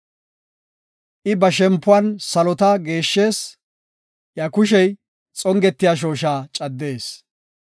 I ba shempuwan salota geeshshees; iya kushey xongetiya shooshaa caddees.